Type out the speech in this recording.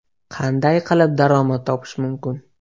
Qanday qilib daromad topish mumkin?